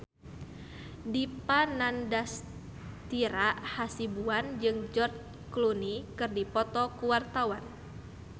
Dipa Nandastyra Hasibuan jeung George Clooney keur dipoto ku wartawan